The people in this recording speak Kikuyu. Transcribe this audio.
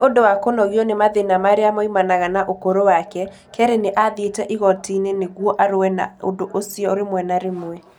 Nĩ ũndũ wa kũnogio nĩ mathĩna marĩa moimanaga na ũkũrũ wake, Kerre nĩ athiĩte igooti-inĩ nĩguo arũe na ũndũ ũcio rĩmwe na rĩmwe.